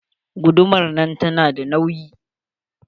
Guduman nan tana da nauyi.